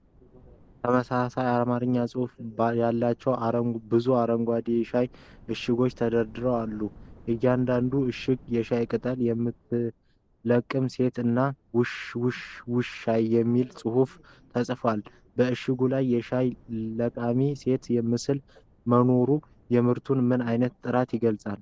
ተመሳሳይ አርማኛ አጻጻፍ ያላቸው ብዙ አረንጓዴ የሻይ እሽጎች ተደርድረው አሉ። እያንዳንዱ እሽግ የሻይ ቅጠል የምትለቅም ሴት እና “ውሽ ውሽ ሻይ” የሚል ጽሑፍ ተጽፏል። በእሽጎቹ ላይ የሻይ ለቃሚ ሴት ምስል መኖሩ የምርቱን ምን ዓይነት ጥራት ይገልጻል?